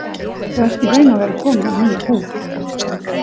Þú ert í raun og veru kominn með nýja húð.